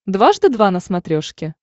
дважды два на смотрешке